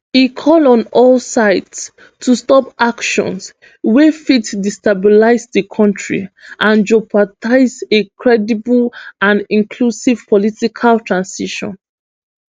e call on all sides to stop actions wey fit destabilise di kontri and jeopardise a credible and inclusive political transition